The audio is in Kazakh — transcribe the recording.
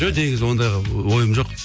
жоқ негізі ондайға ойым жоқ